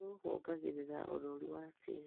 Thumu wongagĩrĩra ũnoru watĩri.